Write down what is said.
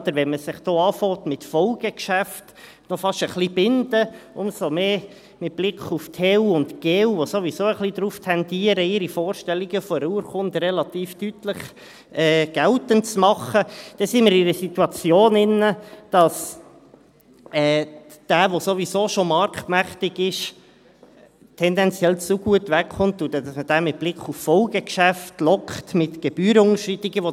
Nicht wahr, wenn man sich hier, mit Folgegeschäften, fast ein wenig zu binden beginnt, umso mehr mit Blick auf Totalunternehmen (TU) und Generalunternehmen (GU), die ein wenig darauf tendieren, ihre Vorstellungen einer Urkunde relativ deutlich geltend zu machen, dann sind wir in einer Situation, in welcher derjenige, der sowieso schon marktmächtig ist, tendenziell zu gut wegkommt, und man mit Blick auf Folgegeschäfte mit Gebührenunterschreitungen lockt.